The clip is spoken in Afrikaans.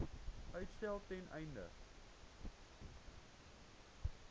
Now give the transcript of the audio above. uitstel ten einde